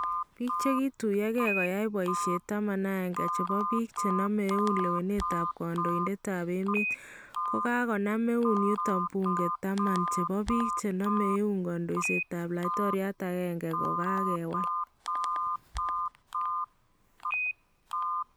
Biik chekituyokee koyai boyisheet 11 chebo biik chename eun lewenetab kandoindetab emet kokanam eun yutoo buunke 10 chebo biik chename eun kandoisetab laitoriat agenge kokakwiil